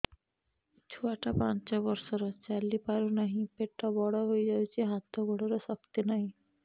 ଛୁଆଟା ପାଞ୍ଚ ବର୍ଷର ଚାଲି ପାରୁନାହଁ ପେଟ ବଡ ହୋଇ ଯାଉଛି ହାତ ଗୋଡ଼ର ଶକ୍ତି ନାହିଁ